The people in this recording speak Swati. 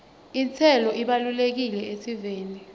intselo ibalulekile esiveni